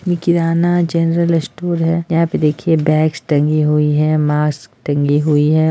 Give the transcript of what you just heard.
ये kirana general store है यहाँ पे देखिए बैग्स टंगी हुई मास्क टंगी हुई है।